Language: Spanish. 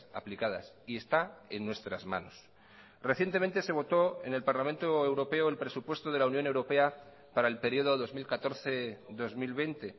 aplicadas y está en nuestras manos recientemente se votó en el parlamento europeo el presupuesto de la unión europea para el periodo dos mil catorce dos mil veinte